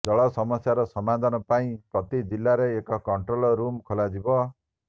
ଜଳ ସମସ୍ୟାର ସମାଧାନ ପାଇଁ ପ୍ରତି ଜିଲ୍ଲାରେ ଏକ କଂଟ୍ରୋଲ ରୁମ ଖୋଲାଯିବ